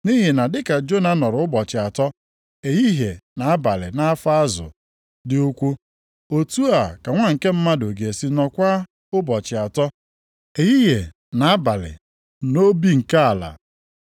Nʼihi na dị ka Jona nọrọ ụbọchị atọ, ehihie na abalị nʼafọ azụ dị ukwuu, otu a ka Nwa nke Mmadụ ga-esi nọọkwa ụbọchị atọ, ehihie na abalị nʼobi nke ala.